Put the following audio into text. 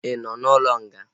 Ị nọ n'ụlọ nga?